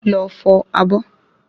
Lọ fọ̀ abọ́